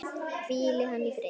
Hvíli hann í friði!